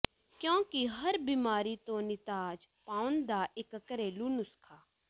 ਕਿਉਂਕਿ ਹਰ ਬਿਮਾਰੀ ਤੋਂ ਨਿਜਾਤ ਪਾਉਣ ਦਾ ਇੱਕ ਘਰੇਲੂ ਨੁਸਖਾ